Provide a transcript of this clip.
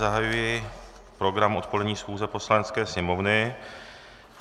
Zahajuji program odpolední schůze Poslanecké sněmovny.